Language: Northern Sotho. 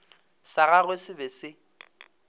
sa gagwe se be se